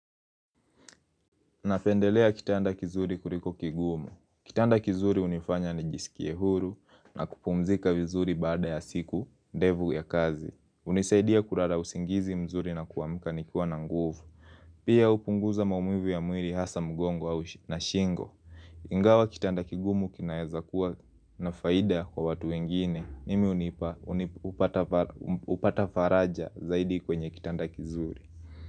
Napendelea kitanda kizuri kuriko kigumu. Kitanda kizuri hunifanya ni jisikie huru na kupumzika vizuri baada ya siku, ndevu ya kazi. Unisaidia kurara usingizi mzuri na kuamka nikiwa na nguvu. Pia upunguza maumivu ya mwili hasa mgongo na shingo. Ingawa kitanda kigumu kinaeza kuwa na faida kwa watu wengine. Nimi unipa upata faraja zaidi kwenye kitanda kizuri.